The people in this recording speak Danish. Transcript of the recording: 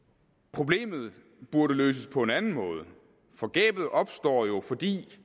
problemet burde løses på en anden måde for gabet opstår jo fordi